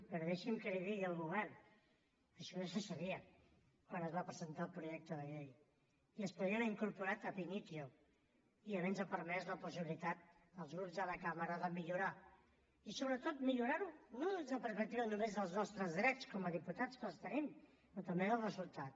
però deixi’m que li digui al govern això ja se sabia quan es va presentar el projecte de llei i es podria haver incorporat ab initio i haver nos permès la possibilitat als grups de la cambra de millorar i sobretot millorar ho no des de la perspectiva només dels nostres drets com a diputats que els tenim però també del resultat